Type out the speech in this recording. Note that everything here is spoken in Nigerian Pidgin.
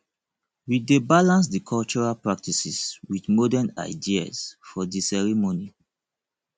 we dey balance di cultural practices with modern ideas for di ceremony